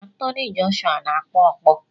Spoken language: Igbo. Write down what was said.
Anthony Joshua na-akụ ọkpọ